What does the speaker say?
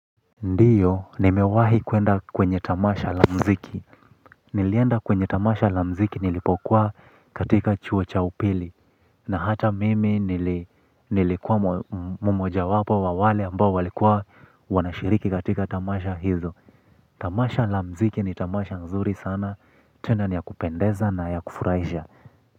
Ndiyo, nimewahi kwenda kwenye tamasha la mziki. Nilienda kwenye tamasha la mziki nilipokua katika chuo cha upili. Na hata mimi nilikua mmoja wapo wa wale ambao walikua wanashiriki katika tamasha hizo. Tamasha la mziki ni tamasha nzuri sana. Tena ni ya kupendeza na ya kufuraisha.